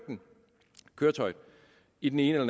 køretøjet i den ene eller